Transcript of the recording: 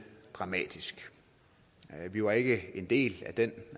dramatisk vi var ikke en del af den